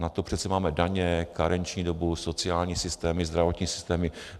Na to přece máme daně, karenční dobu, sociální systémy, zdravotnické systémy.